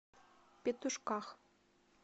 петушках